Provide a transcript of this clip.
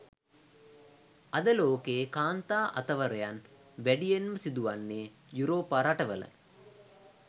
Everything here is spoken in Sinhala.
අද ලෝකයේ කාන්තා අතවරයන් වැඩියෙන්ම සිදුවෙන්නේ යුරෝපා රටවල